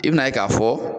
I bɛn'a ye k'a fɔ